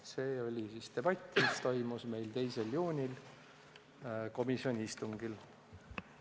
Selline oli siis debatt, mis toimus meil 2. juunil komisjoni istungil.